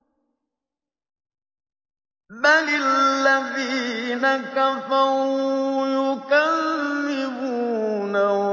بَلِ الَّذِينَ كَفَرُوا يُكَذِّبُونَ